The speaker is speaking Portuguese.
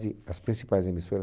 as principais emissoras